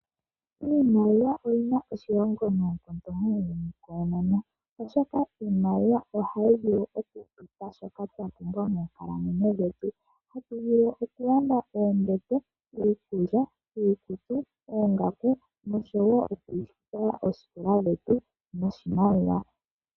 Iimaliwa oyina oshilonga nayi muuyuni koonono, oshoka iimaliwa ohayi vulu oku tupa shoka twapumbwa moonkalamwenyo dhetu. Tatu vulu okulanda iikulya, oombete, oongaku oshowo okufuta oosikola dhetu noshimaliwa.